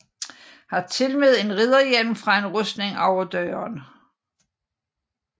Har tilmed en ridderhjelm fra en rustning over døren